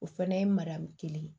O fana ye mariyamu kelen ye